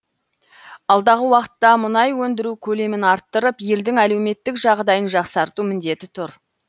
алдағы уақытта мұнай өндіру көлемін арттырып елдің әлеуметтік жағдайын жақсарту міндеті тұр